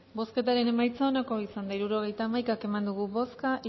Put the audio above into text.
bozketaren emaitza onako izan da hirurogeita hamaika eman dugu bozka